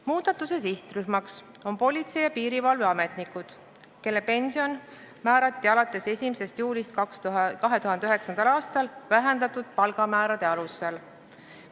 Muudatuse sihtrühm on politsei- ja piirivalveametnikud, kelle pension määrati alates 1. juulist 2009. aastal vähendatud palgamäärade alusel.